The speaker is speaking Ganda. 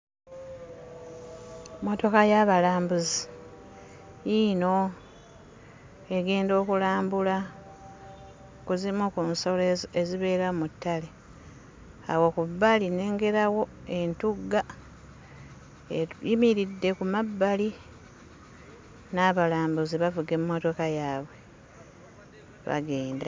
Mmotoka y'abalambuzi yiino. Egenda okulambula ku zimu ku nsolo ezibeera mu ttale. Awo ku bbali nnengerawo entugga eyimiridde ku mabbali n'abalambuzi bavuga emmotoka yaabwe bagenda.